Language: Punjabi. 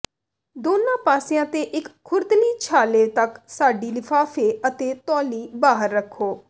ਦੋਨਾਂ ਪਾਸਿਆਂ ਤੇ ਇੱਕ ਖੁਰਦਲੀ ਛਾਲੇ ਤਕ ਸਾਡੀ ਲਿਫ਼ਾਫ਼ੇ ਅਤੇ ਤੌਲੀ ਬਾਹਰ ਰਖੋ